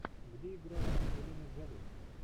где играла анджелина джоли